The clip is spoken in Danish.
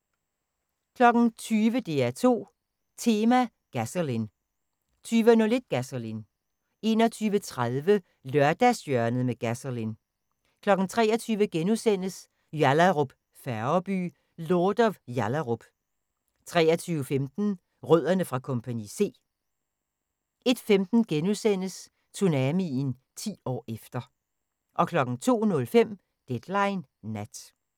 20:00: DR2 Tema: Gasolin' 20:01: Gasolin 21:30: Lørdagshjørnet med Gasolin' 23:00: Yallahrup Færgeby: Lord of Yallahrup * 23:15: Rødderne fra Kompagni C 01:15: Tsunamien – 10 år efter * 02:05: Deadline Nat